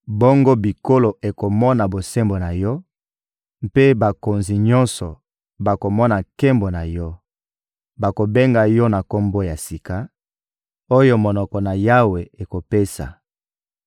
Bongo bikolo ekomona bosembo na yo, mpe bakonzi nyonso bakomona nkembo na yo. Bakobenga yo na kombo ya sika oyo monoko na Yawe ekopesa.